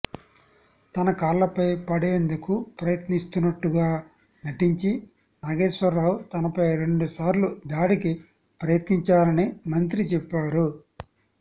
తన కాళ్లపై పడేందుకు ప్రయత్నిస్తున్నట్టుగా నటించి నాగేశ్వరరావు తనపై రెండుసార్లు దాడికి ప్రయత్నించారని మంత్రి చెప్పారు